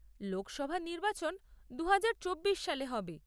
লোকসভা নির্বাচন দুহাজার চব্বিশ সালে হবে।